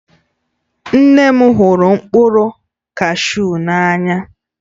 Nne m hụrụ mkpụrụ kashu n'anya